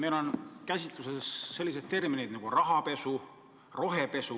Meil on kasutusel sellised terminid nagu rahapesu ja rohepesu.